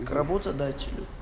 к работодателю